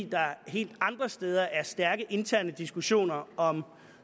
der helt andre steder er stærke interne diskussioner om